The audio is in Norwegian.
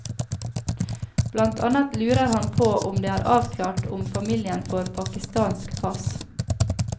Blant annet lurer han på om det er avklart om familien får pakistansk pass.